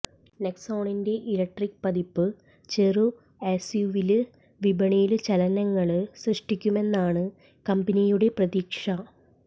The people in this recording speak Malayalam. നെക്സോണിന്റെ ഇലക്ട്രിക്ക് പതിപ്പ് ചെറു എസ്യുവി വിപണിയില് ചലനങ്ങള് സൃഷ്ടിക്കുമെന്നാണ് കമ്പനിയുടെ പ്രതീക്ഷ